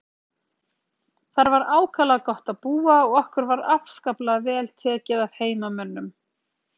Þar var ákaflega gott að búa og okkur var afskaplega vel tekið af heimamönnum.